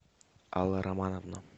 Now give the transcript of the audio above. алла романовна